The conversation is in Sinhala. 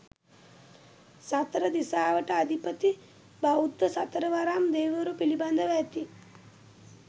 සතර දිසාවට අධිපති බෞද්ධ සතරවරම් දෙවිවරු පිළිබඳව ඇති